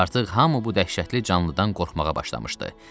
Artıq hamı bu dəhşətli canlıdan qorxmağa başlamışdı.